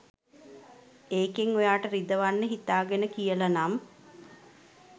ඒකෙන් ඔයාට රිදවන්න හිතාගෙන කියල නම්